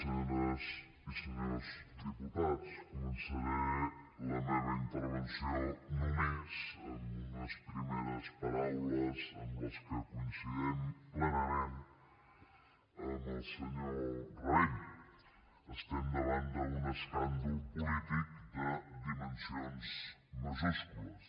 senyores i senyors diputats començaré la meva intervenció només amb unes primeres paraules amb què coincidim plenament amb el senyor rabell estem davant d’un escàndol polític de dimensions majúscules